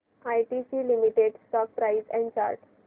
ITC limited stock price and chart